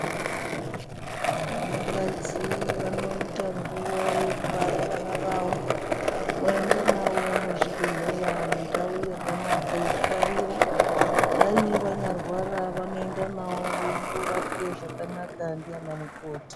Vanakadzi vanoita nguva yekubara vana vavo voenda navo muzvibhedhlera mundau yakanaka yekubarira. Kudai vanyarwara vanoenda navo veindorapwe zvakanaka ndiana mukoti.